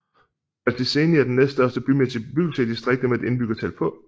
Fălticeni er den næststørste bymæssige bebyggelse i distriktet med et indbyggertal på